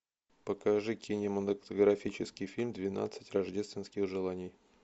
покажи кинематографический фильм двенадцать рождественских желаний